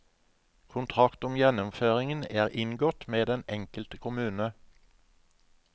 Kontrakt om gjennomføringen er inngått med den enkelte kommune.